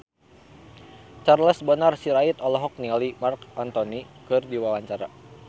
Charles Bonar Sirait olohok ningali Marc Anthony keur diwawancara